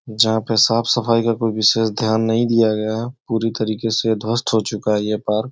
जहाँ पे साफ़-सफाई का कोंई विशेष ध्यान नहीं दिया गया है। पूरी तरीके से ध्वस्त हो चूका है यह पार्क --